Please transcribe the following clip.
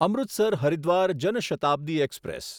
Amritsar Haridwar Jan Shatabdi express